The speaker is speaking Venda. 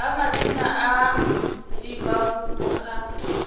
a madzina a divhavhupo kha